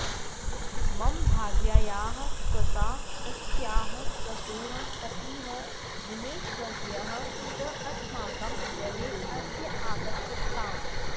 मम भार्यायाः स्वसा तस्याः स्वसुः पतिः दिनेशवर्यः च अस्माकं गृहे अद्य आगच्छताम्